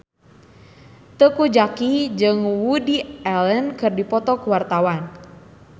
Teuku Zacky jeung Woody Allen keur dipoto ku wartawan